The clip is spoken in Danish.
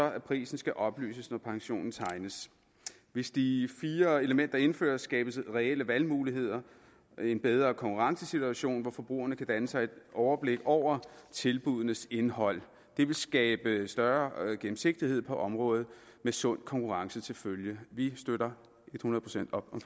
at prisen skal oplyses når pensionen tegnes hvis de fire elementer indføres skabes der reelle valgmuligheder og en bedre konkurrencesituation hvor forbrugerne kan danne sig et overblik over tilbuddenes indhold det vil skabe større gennemsigtighed på området med sund konkurrence til følge vi støtter et hundrede procent op om